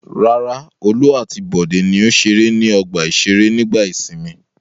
Rárá, Olú àti Bọ̀dé ni ó ṣeré ní ọgbà-ìṣeré nígbà ìsìnmi.